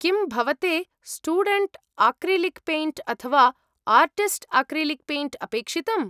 किं भवते student acrylic paint अथवा आर्टिस्ट् आक्रिलिक् पेण्ट् अपेक्षितम्?